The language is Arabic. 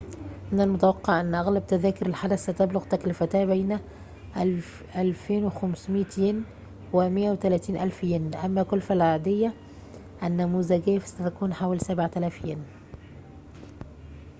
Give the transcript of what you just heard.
من المتوقع أن أغلب تذاكر الحدث ستبلغ تكلفتها بين 2,500 ين و 130,000 ين أما كلفة العادية النموذجية فستكون حوالي 7,000 ين